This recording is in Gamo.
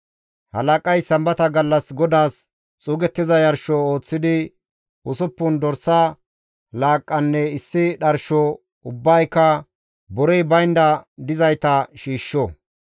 « ‹Halaqay Sambata gallas GODAAS xuugettiza yarsho ooththidi, usuppun dorsa laaqqanne issi dharsho, ubbayka borey baynda dizayta shiishsho.